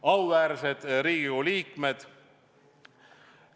Auväärsed Riigikogu liikmed!